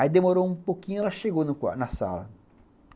Aí demorou um pouquinho e ela chegou na sala.